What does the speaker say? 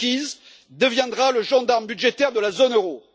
Kukies, deviendra le gendarme budgétaire de la zone euro.